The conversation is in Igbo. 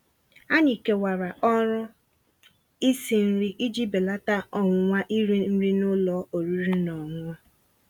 Ànyị́ kèwàrà ọ̀rụ́ ísi nrí íji bèlàtà ọ̀nwụ̀nwa írì nrí n'ụ́lọ̀ ọ̀rị́rị́ ná ọ̀ṅụ̀ṅụ̀.